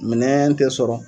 Minɛɛn tɛ sɔrɔ